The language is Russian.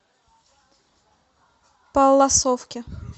палласовке